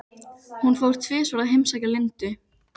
Hún fór tvisvar að heimsækja Lindu.